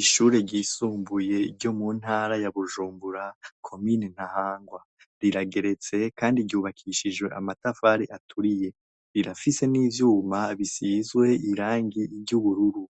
Ishure ryisumbuye ryo mu ntara ya Bujumbura, Komine Ntahangwa. Rirageretse kandi ryubakishijwe amatafari aturiye. Rirafise n'ivyuma bisizwe irangi ry'ubururu.